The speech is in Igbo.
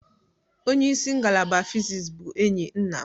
Onye isi ngalaba fịsis bụ enyi nna m.